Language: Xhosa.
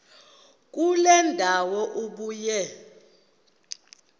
kule ndawo ubuye